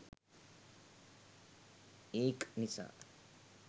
ඒක් නිසා